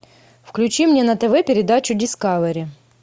включи мне на тв передачу дискавери